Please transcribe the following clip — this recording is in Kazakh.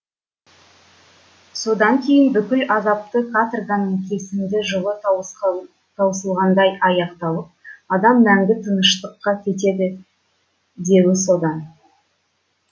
содан кейін бүкіл азапты каторганың кесімді жылы таусылғандай аяқталып адам мәңгі тыныштыққа кетеді деуі содан